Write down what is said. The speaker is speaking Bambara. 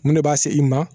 Mun ne b'a se i ma